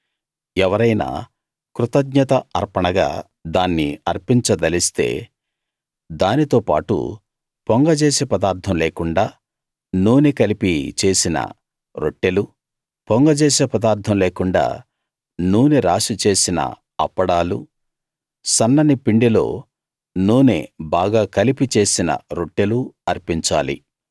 ఎవరైనా కృతఙ్ఞత అర్పణగా దాన్ని అర్పించదలిస్తే దానితో పాటు పొంగజేసే పదార్ధం లేకుండా నూనె కలిపి చేసిన రొట్టెలూ పొంగజేసే పదార్ధం లేకుండా నూనె రాసి చేసిన అప్పడాలూ సన్నని పిండిలో నూనె బాగా కలిపి చేసిన రొట్టెలూ అర్పించాలి